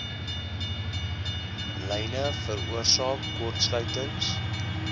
lyne veroorsaak kortsluitings